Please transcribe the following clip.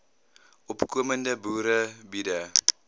opkomende boere biede